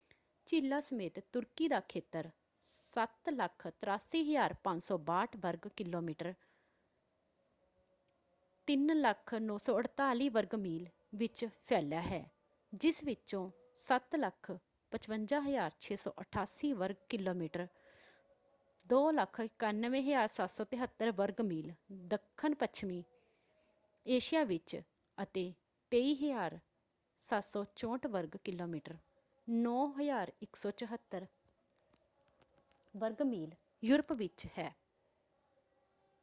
ਝੀਲਾਂ ਸਮੇਤ ਤੁਰਕੀ ਦਾ ਖੇਤਰ 783,562 ਵਰਗ ਕਿਲੋਮੀਟਰ 300,948 ਵਰਗ ਮੀਲ ਵਿੱਚ ਫੈਲਿਆ ਹੈ ਜਿਸ ਵਿਚੋਂ 755,688 ਵਰਗ ਕਿਲੋਮੀਟਰ 291,773 ਵਰਗ ਮੀਲ ਦੱਖਣ ਪੱਛਮੀ ਏਸ਼ੀਆ ਵਿੱਚ ਅਤੇ 23,764 ਵਰਗ ਕਿਲੋਮੀਟਰ 9,174 ਵਰਗ ਮੀਲ ਯੂਰਪ ਵਿੱਚ ਹੈ।